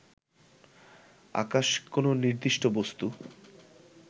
আকাশ কোন নির্দিষ্ট বস্তু